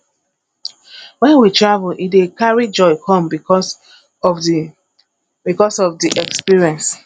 when we travel e dey carry joy come because of di because of di experience